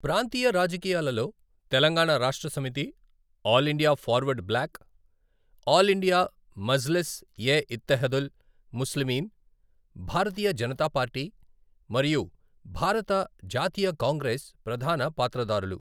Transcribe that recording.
ప్రాంతీయ రాజకీయాలలో Telangana Rashtra Samithi, all India forward bloc, all India Majlis e Ittehadul Muslimeen, Bharatiya Janata party మరియు భారత జాతీయ కాంగ్రెస్ ప్రధాన పాత్రధారులు.